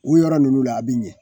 U yɔrɔ ninnu la a be ɲɛ